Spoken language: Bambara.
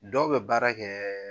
Dɔw bɛ baara kɛɛ